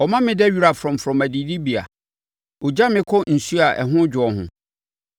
Ɔma meda wira frɔmfrɔm adidibea mu; ɔgya me kɔ nsuo a ɛho dwoɔ ho,